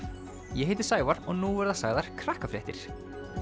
ég heiti Sævar og nú verða sagðar Krakkafréttir